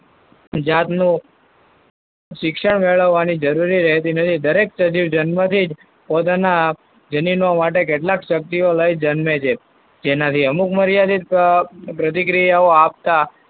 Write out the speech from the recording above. જાતનું શિક્ષણ મેળવવાની જરૂર રહેતી નથી. દરેક સજીવ જન્મથી જ પોતાના જનીનો માટે કેટલાક સકતીઓ લઈને જન્મે છે. જેનાથી અમુક મર્યાદિત અમ પ્રતિક્રિયાઓ આપતા,